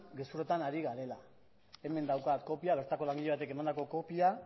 gezurretan ari garela hemen daukat kopia bertako langile batek emandako kopia